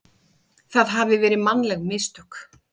það hafi verið mannleg mistök.